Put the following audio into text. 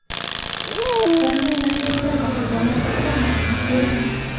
Vayronagarchiliklar va qurbonlar haqida ma’lumot berilmagan.